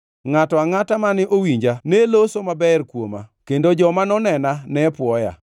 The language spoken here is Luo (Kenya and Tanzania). Ngʼato angʼata mane owinja ne loso maber kuoma, kendo joma nonena ne pwoya,